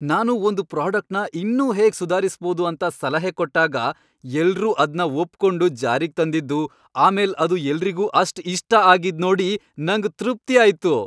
ನಾನು ಒಂದ್ ಪ್ರಾಡಕ್ಟ್ನ ಇನ್ನೂ ಹೇಗ್ ಸುಧಾರಿಸ್ಬೋದು ಅಂತ ಸಲಹೆ ಕೊಟ್ಟಾಗ ಎಲ್ರೂ ಅದ್ನ ಒಪ್ಕೊಂಡು ಜಾರಿಗ್ ತಂದಿದ್ದು, ಆಮೇಲ್ ಅದು ಎಲ್ರಿಗೂ ಅಷ್ಟ್ ಇಷ್ಟ ಆಗಿದ್ನೋಡಿ ನಂಗ್ ತೃಪ್ತಿಯಾಯ್ತು.